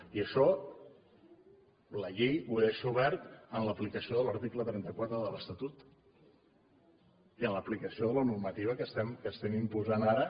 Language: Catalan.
i això la llei ho deixa obert en l’aplicació de l’article trenta quatre de l’estatut i en l’aplicació de la normativa que estem imposant ara